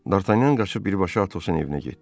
Dartanyan qaçıb birbaşa Atosun evinə getdi.